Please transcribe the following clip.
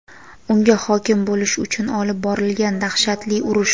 unga hokim bo‘lish uchun olib borilgan dahshatli urush.